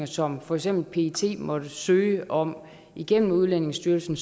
som for eksempel pet måtte søge om igennem udlændingestyrelsen